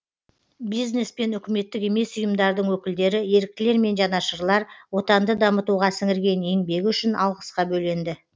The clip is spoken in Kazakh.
бизнес пен үкіметтік емес ұйымдардың өкілдері еріктілер мен жанашырлар отанды дамытуға сіңірген еңбегі үшін алғысқа бөленді